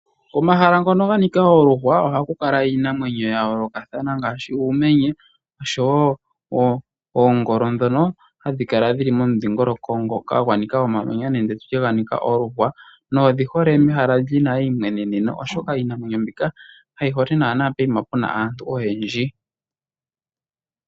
Omahala ngoka ga nika oluhwa ohaku kala iinamwenyo ya yoolokathana, ngashi uumenye osho wo oongolo dhoka hadhi kala dhili momudhingoloko ngono gwanika omamanya nenge oluhwa nodhi hole mehala lina eimweneneno, oshoka iinamwenyo mbika kayi hole naana pehala puna aantu oyendji.